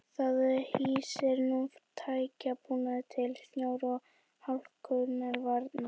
Það hýsir nú tækjabúnað til snjó og hálkuvarna.